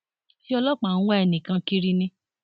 ṣé ọlọpàá ń wá ẹnì kan kiri ni